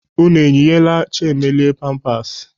Unu eyinyeela Chiemelie pampasị?